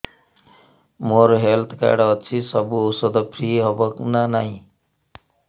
ମୋର health card ଅଛି ସବୁ ଔଷଧ ଫ୍ରି ହବ ନା ନାହିଁ